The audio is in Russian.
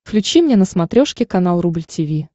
включи мне на смотрешке канал рубль ти ви